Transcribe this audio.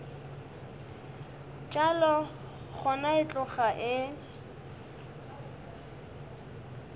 bjalo gona e tloga e